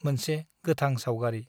मोनसे गोथां साउगारी